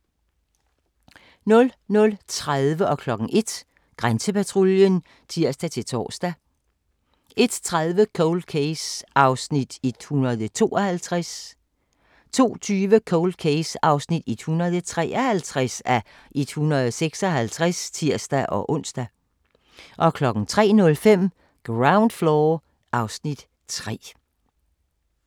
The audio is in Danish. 00:30: Grænsepatruljen (tir-tor) 01:00: Grænsepatruljen (tir-tor) 01:30: Cold Case (152:156) 02:20: Cold Case (153:156)(tir-ons) 03:05: Ground Floor (Afs. 3)